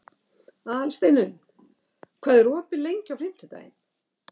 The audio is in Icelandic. Aðalsteinunn, hvað er opið lengi á fimmtudaginn?